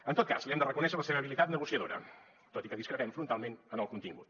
en tot cas li hem de reconèixer la seva habilitat negociadora tot i que discrepem frontalment en el contingut